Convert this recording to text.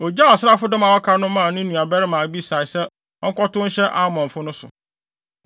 Ogyaw asraafodɔm a wɔaka no maa ne nuabarima Abisai sɛ ɔnkɔtow nhyɛ Amonfo no so.